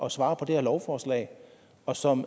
at svare på det her lovforslag og som